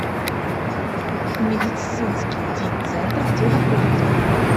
медицинский ди центр где находится